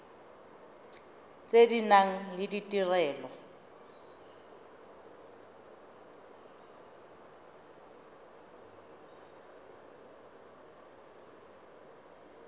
tse di nang le ditirelo